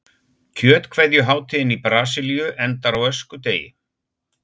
Kjötkveðjuhátíðin í Brasilíu endar á öskudegi.